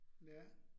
Ja